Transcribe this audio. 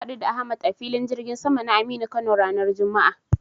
Na haɗu da Ahmad a Filin jirgin sama na Aminu Kano ranar juma'a.